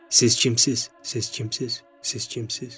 Siz kimsiz, siz kimsiz, siz kimsiz.